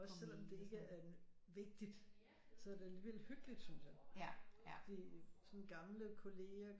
Også selvom det ikke er vigtigt så er det alligevel hyggeligt synes jeg fordi sådan gamle kollegaer